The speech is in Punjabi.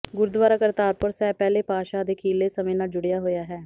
ਗੁਰਦੁਆਰਾ ਕਰਤਾਰਪੁਰ ਸਾਹਿਬ ਪਹਿਲੇ ਪਾਤਸ਼ਾਹ ਦੇ ਅਖੀਰਲੇ ਸਮੇਂ ਨਾਲ ਜੁੜਿਆ ਹੋਇਆ ਹੈ